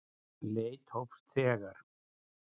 Leit hófst þegar